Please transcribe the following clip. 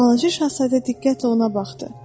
Balaca şahzadə diqqətlə ona baxdı.